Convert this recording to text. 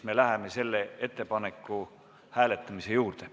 Me läheme selle ettepaneku hääletamise juurde.